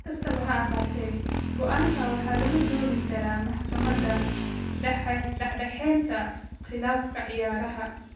Si kastaba ha ahaatee, go'aanka waxaa lagu doodi karaa maxkamadda dhexdhexaadinta khilaafaadka ciyaaraha.